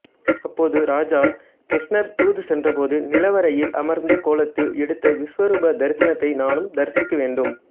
அப்போது ராஜா கிருஷ்ணர் தூது சென்றபோது நிலவறையில் அமர்ந்த கோலத்தில் எடுத்த விசுவரூப தரிசனத்தை நானும் தரிசிக்க வேண்டும்